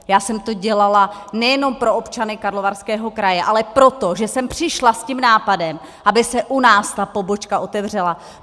Já jsem to dělala nejenom pro občany Karlovarského kraje, ale proto, že jsem přišla s tím nápadem, aby se u nás ta pobočka otevřela.